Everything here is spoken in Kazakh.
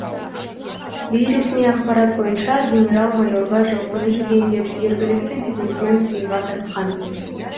бейресми ақпарат бойынша генерал майорға жылқыны жүгендеп жергілікті бизнесмен сыйға тартқан